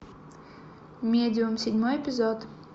медиум седьмой эпизод